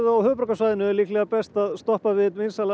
á höfuðborgarsvæðinu er líklega best að stoppa við einn vinsælasta